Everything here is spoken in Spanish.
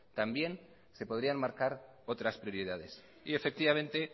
también se podrían marcar otras prioridades efectivamente